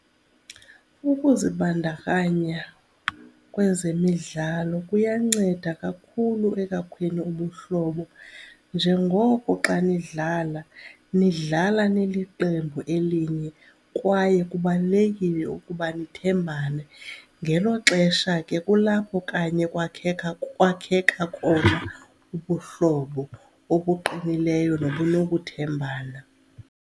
Ukuzibandakanya kwezemidlalo kuyanceda kakhulu ekwakheni ubuhlobo njengoko xa nidlala nidlala niliqembu elinye kwaye kubalulekile ukuba nithembane. Ngelo xesha ke kulapho kanye kwakheka kwakheka khona ubuhlobo obuqinileyo nobunokuthembana.